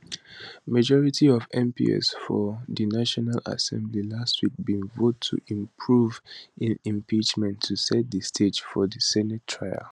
majority of mps for di national assembly last week bin vote to approve im impeachment to set di stage for di senate trial